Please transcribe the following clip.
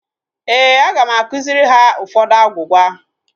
Éè, aga m akụziri ha ụfọdụ agwugwa